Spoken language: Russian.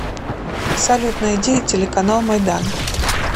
салют найди телеканал майдан